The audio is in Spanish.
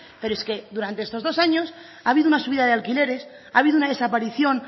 pero es que durante estos dos años ha habido una subida de alquileres ha habido una desaparición